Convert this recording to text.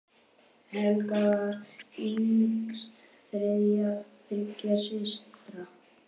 Helga var yngst þriggja systra.